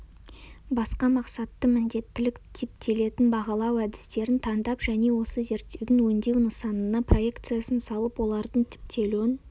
басқа мақсатты міндеттілік-типтелетін бағалау әдістерін таңдап және осы зерттеудің өңдеу нысанына проекциясын салып олардың типтелуін